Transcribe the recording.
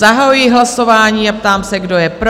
Zahajuji hlasování a ptám se, kdo je pro?